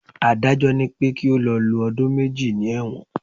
Adájọ́ ni pé kí ó lọ lo ọdún méjì ní ẹ̀wọ̀n.